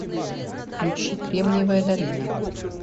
включи кремниевая долина